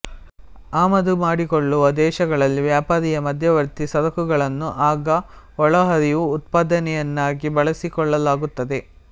ಆಮದುಮಾಡಿಕೊಳ್ಳುವ ದೇಶಗಳಲ್ಲಿ ವ್ಯಾಪಾರೀಯ ಮಧ್ಯವರ್ತಿ ಸರಕುಗಳನ್ನು ಆಗ ಒಳಹರಿವು ಉತ್ಪಾದನೆಯನ್ನಾಗಿ ಬಳಸಿಕೊಳ್ಳಲಾಗುತ್ತದೆ